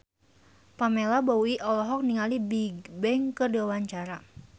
Pamela Bowie olohok ningali Bigbang keur diwawancara